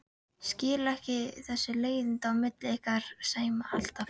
Skil ekki þessi leiðindi á milli ykkar Sæma alltaf.